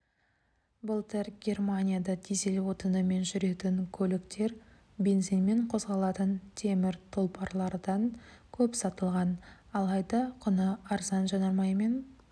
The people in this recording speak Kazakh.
былтыр германияда дизель отынымен жүретін көліктер бензинмен қозғалатын темір тұлпарлардан көп сатылған алайда құны арзан жанармаймен